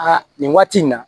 Aa nin waati in na